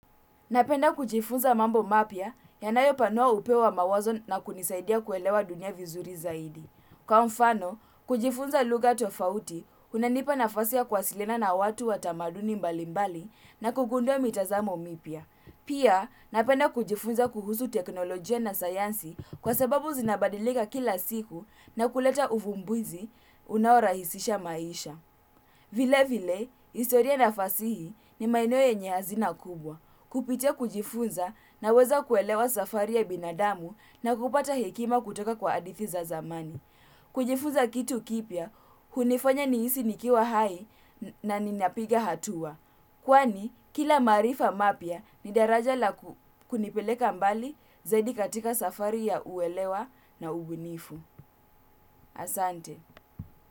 Napenda kujifunza mambo mapya yanayopanua upeo wa mawazo na kunisaidia kuelewa dunia vizuri zaidi. Kwa mfano, kujifunza lugha tofauti, unanipa nafasi ya kuwasilina na watu wa tamaduni mbalimbali na kugundua mitazamo mipya pia, napenda kujifunza kuhusu teknolojia na sayansi kwa sababu zinabadilika kila siku na kuleta uvumbuzi unaorahisisha maisha. Vile vile, historia na fasihi ni maeneo yenye hazina kubwa. Kupitia kujifunza naweza kuelewa safari ya binadamu na kupata hekima kutoka kwa hadithi za zamani. Kujifunza kitu kipya, hunifanya nihisi nikiwa hai na ninapiga hatua. Kwani, kila maarifa mapya ni daraja la kunipeleka mbali zaidi katika safari ya uelewa na ubunifu. Asante.